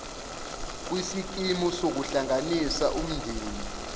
kwisikimu sokuhlanganisa umndeni